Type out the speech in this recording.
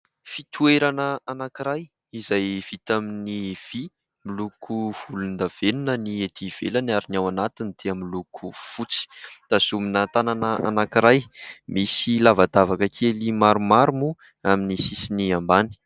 Fitoerana anankiray izay vita tamin'ny vy miloko volondavenona ny ety ivelany ary ny ao anatin'ity miloko fotsy, tazomina tanana anankiray misy lavadavaka kely maromaro moa amin'ny sisiny ambany.